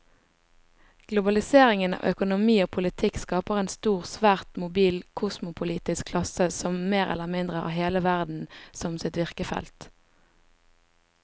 Globaliseringen av økonomi og politikk skaper en stor, svært mobil kosmopolitisk klasse som mer eller mindre har hele verden som sitt virkefelt.